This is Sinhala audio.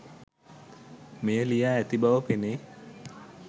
මෙය ලියා ඇති බව පෙනේ.